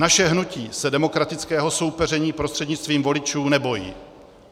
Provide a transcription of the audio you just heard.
Naše hnutí se demokratického soupeření prostřednictvím voličů nebojí.